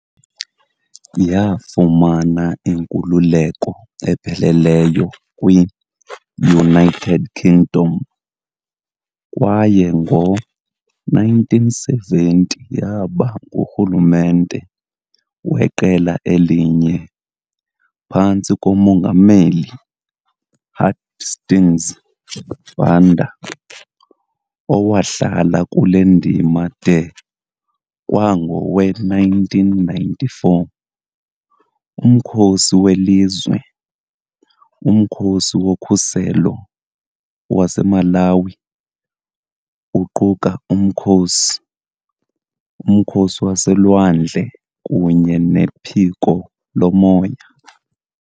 Yafumana inkululeko epheleleyo kwi-United Kingdom, kwaye ngo-1970 yaba ngurhulumente weqela elinye phantsi komongameli Hastings Banda, owahlala kule ndima de kwangowe-1994. Umkhosi welizwe, uMkhosi woKhuselo waseMalawi, uquka umkhosi, umkhosi waselwandle kunye nephiko lomoya.